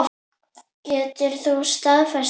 Getur þú staðfest þetta?